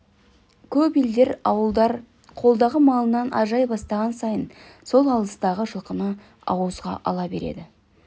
көп елдер ауылдар қолдағы малынан ажырай бастаған сайын сол алыстағы жылқыны ауызға ала береді